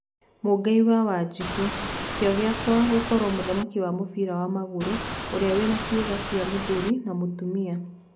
Mũigai wa wanjiku,' Kĩo gĩakwa gũkorwo mũthaki wa mũbĩra wa magũrũ ũrĩa wina ciega cia Mũthuri na Mũtumia.